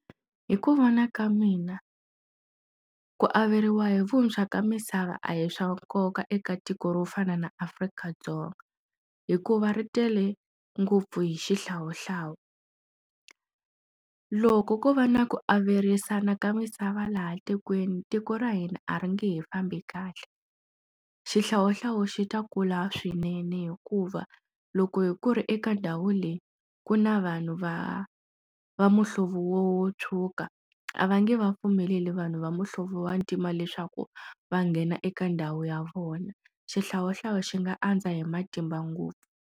Hi ku vona ka mina ku averiwa hi vuntshwa ka misava a hi swa nkoka eka tiko ro fana na Afrika-Dzonga hikuva ri tele ngopfu hi xihlawuhlawu loko ko va na ku averiwana ka misava laha tikweni tiko ra hina a ri nge he fambi kahle xihlawuhlawu xi ta kula swinene hikuva loko hi ku ri eka ndhawu leyi ku na vanhu va va muhlovo wo wo tshuka a va nge va pfumeleli vanhu va muhlovo wa ntima leswaku va nghena eka ndhawu ya vona, xihlawuhlawu xi nga andza hi matimba ngopfu.